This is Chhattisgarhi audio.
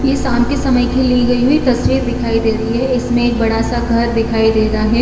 ए शाम की ली गई हुई तस्वीर दिखाई दे रही है इसमें बड़ा सा घर दिखाई दे रहा है।